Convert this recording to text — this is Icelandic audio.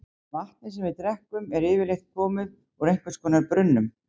vatnið sem við drekkum er yfirleitt komið úr einhvers konar brunnum